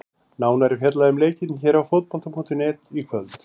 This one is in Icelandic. Nánar er fjallað um leikinn hér á Fótbolta.net í kvöld.